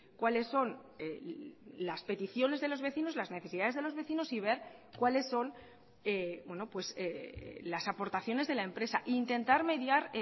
cuáles son las peticiones de los vecinos las necesidades de los vecinos y ver cuáles son las aportaciones de la empresa e intentar mediar